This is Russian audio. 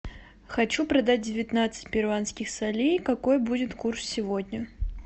хочу продать девятнадцать перуанских солей какой будет курс сегодня